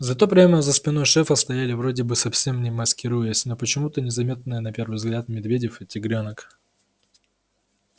зато прямо за спиной шефа стояли вроде бы совсем не маскируясь но почему-то незаметные на первый взгляд медведев и тигрёнок